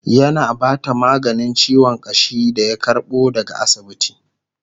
yana Bata maganin ciwon ƙashi da ya karbo daga asibiti